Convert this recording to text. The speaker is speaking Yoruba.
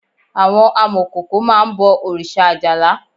Àwọn amọ̀kòkò máá ń bọ̀ òrìṣà Ajala